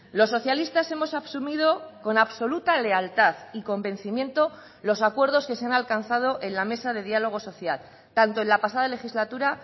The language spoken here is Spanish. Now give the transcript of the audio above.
los socialistas hemos asumido con absoluta lealtad y convencimiento los acuerdos que se han alcanzado en la mesa de diálogo social tanto en la pasada legislatura